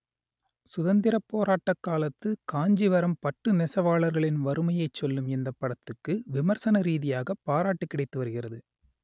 சுதந்திர போராட்ட காலத்து காஞ்சிவரம் பட்டு நெசவாளர்களின் வறுமையைச் சொல்லும் இந்தப் படத்துக்கு விமர்சன ‌ரீ‌தியாக பாராட்டு கிடைத்து வருகிறது